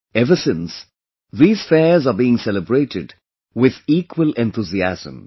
Ever since, these fairs are being celebrated with equal enthusiasm